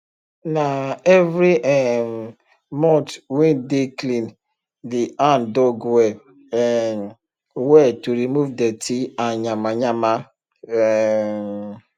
nah every um month wey dey clean the handdug well um well to remove dirty and yamayama um